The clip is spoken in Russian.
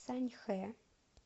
саньхэ